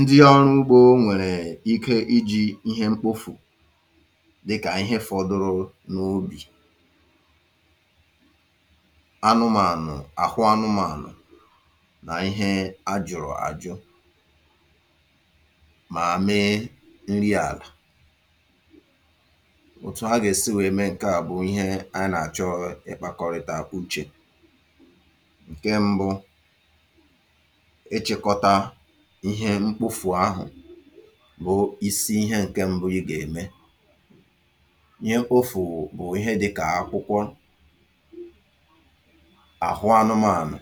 ndị ọrụ ugbo nwèrè ike iji̇ ihe mkpofù dịkà ihe fọdụrụ n’ubì anụmànụ̀, àhụ anụmànụ̀ nà ihe a jụ̀rụ̀ àjụ mà mee nri àlà. òtù agà èsi wèe mee ǹke à bụ̀ ihe a nà àchọ ị̀kpȧkọ̀rị̀tà uchè. ǹke mbụ ị̀chikota ihẹ mkpofù ahụ̀ bụ isi ihẹ ǹkẹ mbụ i gà-ème ihẹ ofù bụ̀ ihẹ dịkà akwụkwọ, àhụ anụmȧnụ̀,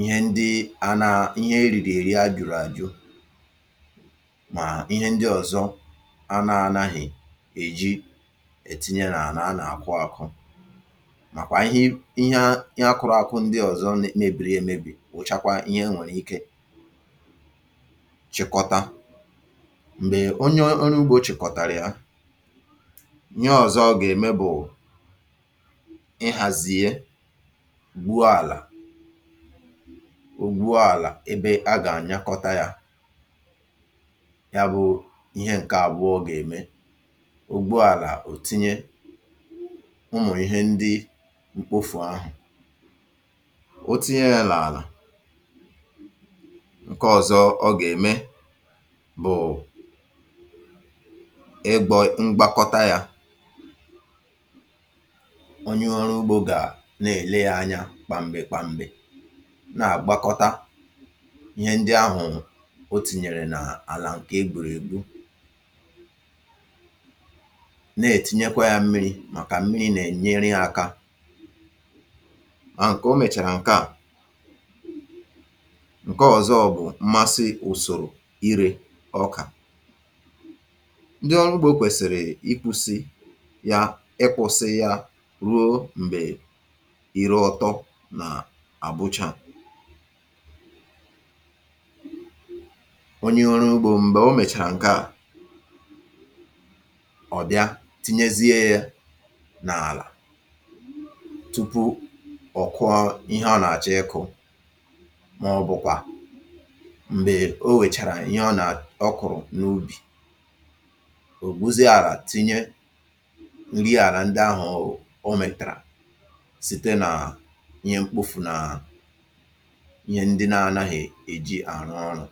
ihẹ ndị ana ihe eriri eri ajuru aju mà ihẹ ndị ọ̀zọ anȧ anaghị̇ èji ètinye nà anà anà-àkụ àkụ màkwà ihẹ ihẹ akụrụ àkụ ndị ọ̀zọ mebiri èmebi buchakwa ihe enwerike chịkọta m̀gbè onye oru ugbȯ chị̀kọ̀tàrà ya, ihe ọ̀zọ o gà-ème bụ̀ ihàzie gwuo àlà o gwuo àlà ebe a gà-ànyakọta yȧ ya bụ ihe ǹke àbụọ gà-ème ogbuàlà ò tinye ụmụ̀ ihe ndị mkpofù ahụ̀, otinye ya n'ala nke ọzọ̇ ọ gà-ème bụ̀ i gbȯ ngbakọta yȧ onye ọrụ ugbȯ gà na-èle ya anyȧ kpamgbè kpamgbè na-àgbakọta ihe ndị ahụ̀ o tìnyèrè nà àlà ǹkè egburu ègbu na-ètinyekwa yȧ mmiri̇ màkà mmiri nà-enyere akȧ a ǹke o mèchàrà ǹke à, ǹke ọzọ bụ̀ mmasị ùsòrò ire ọkà ndị ọrụ ugbȯ kwèsìrì ikwusi ya ịkwọ̇sị ya ruo m̀gbè ire ọtọ nà àbụchaa onye ọrụ ugbȯ m̀gbè o mèchàrà ǹke à ọ̀ bịa tinyezie ya n’àlà tupu ọ̀ kụọ ihe a nà àchọ ịkụ̇ maobukwa m̀gbè o wèchàrà ihe ọ nà ọ kụ̀rụ̀ n’ubì ò gbuzie àlà tinye nri àlà ndị ahụ̀ o mètèrè site nà ihe mkpofù nà ihe ndị na-anaghị̀ èji àrụ ọrụ̇.